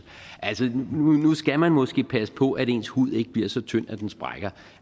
nu skal man måske passe på at ens hud ikke bliver så tynd at den sprækker